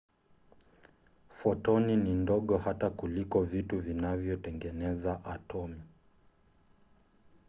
fotoni ni ndogo hata kuliko vitu vinavyotengeneza atomu!